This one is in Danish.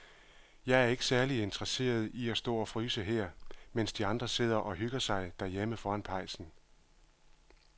Jeg er ikke særlig interesseret i at stå og fryse her, mens de andre sidder og hygger sig derhjemme foran pejsen.